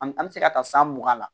An an bɛ se ka taa san mugan la